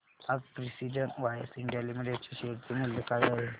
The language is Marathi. आज प्रिसीजन वायर्स इंडिया लिमिटेड च्या शेअर चे मूल्य काय आहे